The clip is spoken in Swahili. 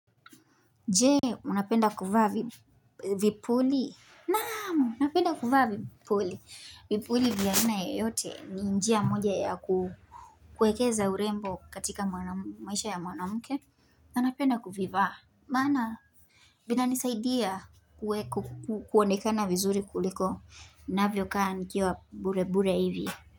Jee, unapenda kuvaa vipuli. Naamu, napenda kuvaa vipuli. Vipuli vya aina yoyote ni njia moja yakuekeza urembo katika maisha ya mwanamke. Nanapenda kuvivaa. Maana, vinanisaidia kuonekana vizuri kuliko. Navyo kaa nikiwa burebure hivi.